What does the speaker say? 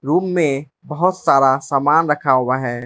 Room में बहोत सारा समान रखा हुआ है।